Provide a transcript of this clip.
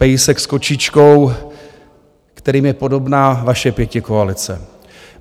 Pejsek s kočičkou, kterým je podobná vaše pětikoalice.